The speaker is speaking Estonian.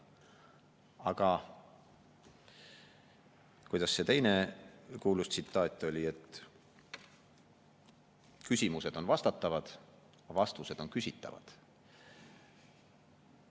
Aga kuidas see teine kuulus tsitaat oli: "Küsimused on vastatavad, aga vastused on küsitavad.